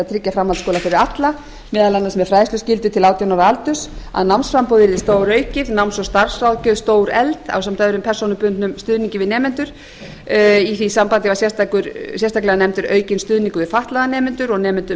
tryggja framhaldsskóla fyrir alla meðal annars með fræðsluskyldu til átján ára aldurs að námsframboð yrði stóraukið náms og starfsráðgjöf stórefld ásamt öðrum persónubundnum stuðningi við nemendur í því sambandi var sérstaklega nefndur aukinn stuðningur við fatlaða nemendur og nemendur